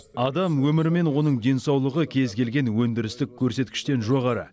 адам өмірі мен оның денсаулығы кез келген өндірістік көрсеткіштен жоғары